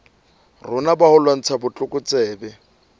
rona ba ho lwantsha botlokotsebe